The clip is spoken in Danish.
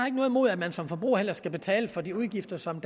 imod at man som forbruger skal betale for de udgifter som